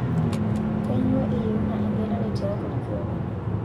Kainyoo eyeuna engelare tiatua olkioma ?